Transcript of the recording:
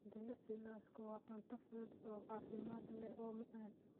Jilicsan lawska waa cunto fudud oo caafimaad leh oo macaan.